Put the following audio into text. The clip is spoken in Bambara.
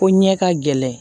Ko ɲɛ ka gɛlɛn